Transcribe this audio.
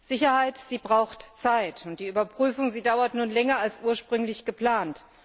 Sicherheit braucht Zeit, und die Überprüfung dauert nun länger als ursprünglich geplant.